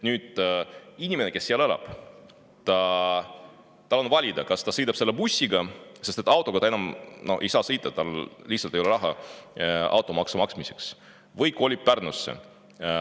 Inimesel, kes seal elab, on valida, kas ta sõidab selle bussiga, sest autoga ta enam ei saa sõita, tal lihtsalt ei ole raha automaksu maksmiseks, või kolib Pärnusse.